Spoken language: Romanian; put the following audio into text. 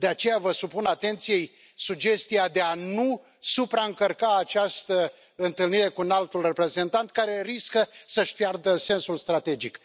De aceea, vă supun atenției sugestia de a nu supraîncărca această întâlnire cu Înaltul Reprezentant, care riscă să își piardă sensul strategic.